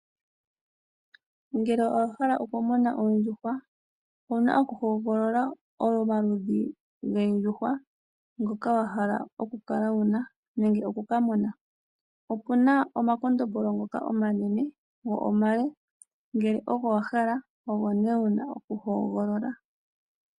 Ngele owa hala okumuna oondjuhwa, owu na okuhogolola omaludhi goondjuhwa ngoka wa hala okukala wu na nenge oku ka muna. Opu na omakondombolo ngoka omanene go omale, ngele ogo wa hala ogo nduno wu na okuhogolola.